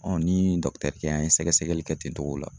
n ni an ye sɛgɛsɛgɛli kɛ ten togo la.